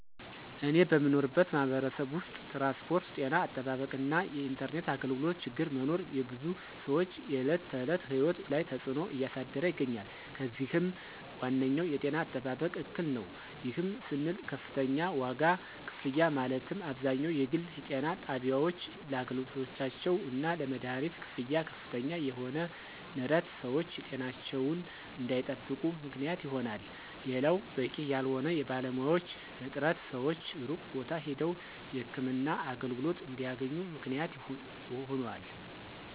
እኔ በምኖርበት ማህበረሰብ ውስጥ ትራንስፖርት፣ ጤና አጠባበቅ እና የኢንተርኔት አገልግሎቶ ችግር መኖር የብዙ ሰወች የዕለት ተዕለት ህይወት ላይ ተፅዕኖ እያሳደረ ይገኛል። ከዚህም ዋነኛው የጤና አጠባበቅ እክል ነው። ይህም ስንል ከፍተኛ ዋጋ ክፍያ ማለትም አብዛኛው የግል ጤና ጣቢያወች ለአገልግሎታቸው እና ለመደሀኒት ክፍያ ከፍተኛ የሆነ ንረት ሰወች ጤናቸውን እንዳይጠብቁ ምክንያት ይሆናል። ሌላው በቂ ያልሆነ የባለሙያዎች እጥረት ሰወች ሩቅ ቦታ ሄደው የህክምና አገልግሎት እንዲያገኙ ምክንያት ሆኗል።